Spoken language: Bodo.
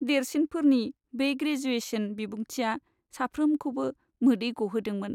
देरसिनफोरनि बे ग्रेजुएशन बिबुंथिआ साफ्रोमखौबो मोदै ग'होदोंमोन।